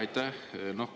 Aitäh!